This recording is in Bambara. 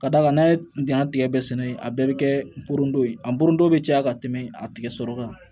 Ka d'a kan n'a ye dingɛ tigɛ sɛnɛ a bɛɛ bɛ kɛ norono ye a nuro bɛ caya ka tɛmɛ a tigɛ sɔrɔ kan